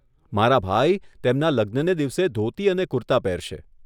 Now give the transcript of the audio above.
મારા ભાઈ તેમના લગ્નને દિવસે ધોતી અને કુર્તા પહેરશે.